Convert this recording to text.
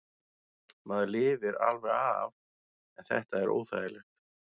Maður lifir alveg af en þetta er óþægilegt.